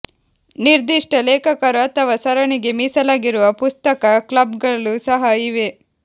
ನಿರ್ದಿಷ್ಟ ಲೇಖಕರು ಅಥವಾ ಸರಣಿಗೆ ಮೀಸಲಾಗಿರುವ ಪುಸ್ತಕ ಕ್ಲಬ್ಗಳು ಸಹ ಇವೆ